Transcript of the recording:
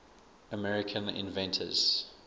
american inventions